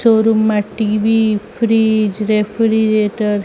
Showroom મા TV fridge refrigerator .